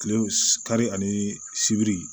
Kile kari ani sibiri